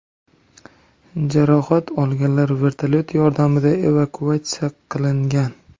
Jarohat olganlar vertolyot yordamida evakuatsiya qilingan.